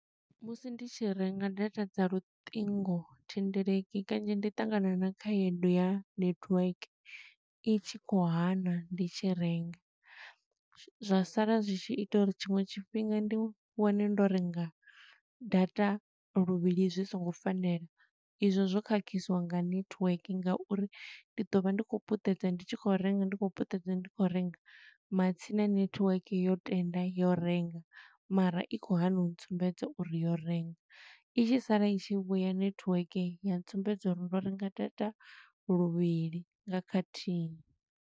Musi ndi tshi renga data dza luṱingothendeleki kanzhi ndi ṱangana na khaedu ya netiweke, i tshi khou hana ndi tshi renga. Zwa sala zwi tshi ita uri tshiṅwe tshifhinga ndi wane ndo renga data luvhili zwi songo fanela. I zwo zwo khakhiswa nga network nga uri ndi ḓo vha ndi khou puṱedza, ndi tshi khou renga ndi khou puṱedza, ndi khou renga. Matsina network yo tenda yo renga, mara i khou hana u tsumbedza uri yo renga. I tshi sala i tshi vhuya network, ya tsumbedza uri ndo renga data luvhili nga khathihi.